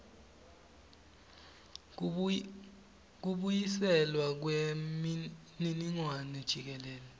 kubuyiselwa kwemininingwane jikelele